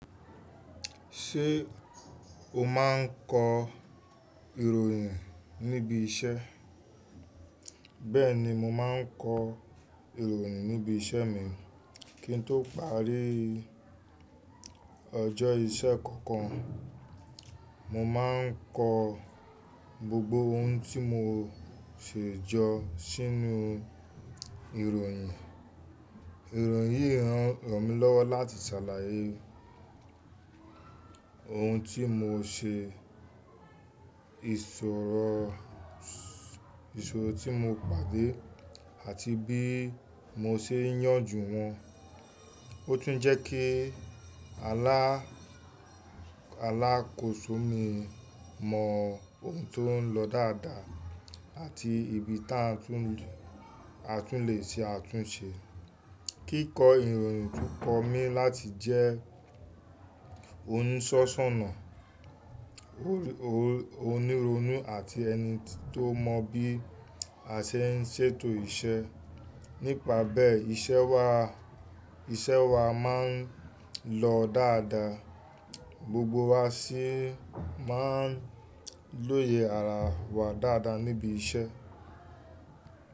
Ṣé o máa ń kọ ìròyìn níbi iṣẹ́? Bẹ́ẹ̀ni, mo máa ń kọ ìròyìn níbi iṣẹ́ mi kí n tó parí ọjọ́ iṣẹ́ kankan. Mo máa ń kọ gbogbo ohun tí mo ṣe jọ sínú ìròyìn. Ìròyìn yìí ràn mí lọ́wọ́ láti ṣàlàyé ohun tí mo ṣe, ìṣòro tí mo pàdé àti bí mo ṣe n yanjú wọn. Ó tún ń jẹ́ kí alákòóso mi mọ ohun tó ń lọ dáadáa àti ibi tí a tún lè ṣe àtúnṣe. Kíkọ ìròyìn tún kọ mí láti jẹ́ oníṣọ́ṣọ́na, oníronú àti ẹni tó mọ bí a ṣe ń ṣètò iṣẹ́. Nípa bẹ́ẹ̀, iṣẹ́ wa máa ń lọ dáadáa, gbogbo wa sì máa ń lóye ara wa dáadáa níbi iṣẹ́.